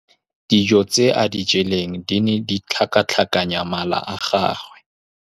Dijô tse a di jeleng di ne di tlhakatlhakanya mala a gagwe.